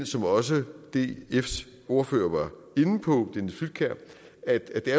som også dfs ordfører inde på at det